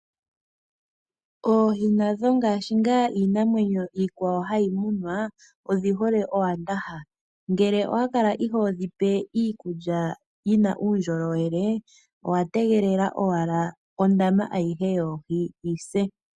Oohi nadho ngaashi iinamwenyo iikwawo hayi okumunwa odhi hole owandaha. Ngele owa kala ihodhi pe iikulya yina uundjolowele , owategelela owala ondama aihe yoohi yise.